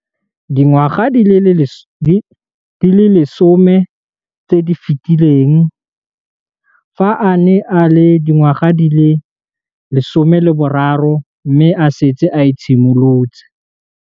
Dingwaga di le 10 tse di fetileng, fa a ne a le dingwaga di le 23 mme a setse a itshimoletse